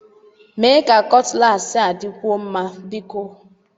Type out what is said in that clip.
Mee ka kutlassi a dịkwuo mma, biko!